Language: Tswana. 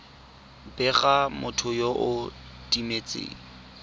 bega motho yo o timetseng